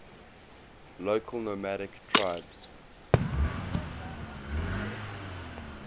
local nomadic tribes